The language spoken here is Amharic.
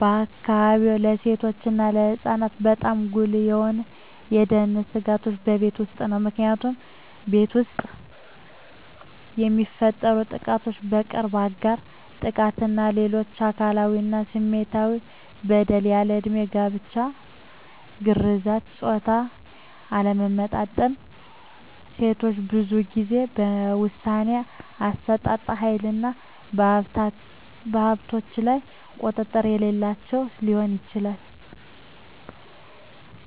በአካባቢዎ ለሴቶች እና ለህፃናት በጣም ጉልህ የሆኑ የደህንነት ስጋቶች በቤት ውስጥ ነው። ምክንያቱም ቤት ውስጥ የሚፈፀሙ ጥቃቶች የቅርብ አጋር ጥቃት እና ሌሎች አካላዊ እና ስሜታዊ በደል፣ ያልድሜ ጋብቻ፣ ግርዛት፣ የፆታ አለመመጣጠን፣ ሴቶች ብዙን ጊዜ የውሣኔ አሠጣጥ ሀይልና በሀብቶች ላይ ቁጥጥር የሌላቸው ሲሆን